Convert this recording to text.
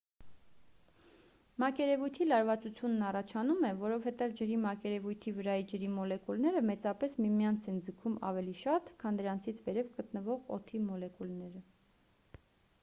մակերևույթի լարվածությունն առաջանում է որովհետև ջրի մակերևույթի վրայի ջրի մոլեկուլները մեծապես միմյանց են ձգում ավելի շատ քան դրանցից վերև գտնվող օդի մոլեկուլները